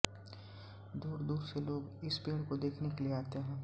दूरदूर से लोग इस पेड़ को देखने के लिये आते हैं